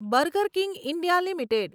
burger King India limited